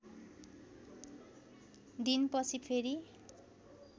दिन पछि फेरी